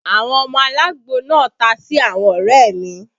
Àwọn ọmọ alagbo náà ta sí àwọn ọrẹ mi